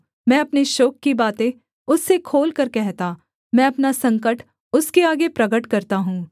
मैं अपने शोक की बातें उससे खोलकर कहता मैं अपना संकट उसके आगे प्रगट करता हूँ